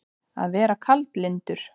Að vera kaldlyndur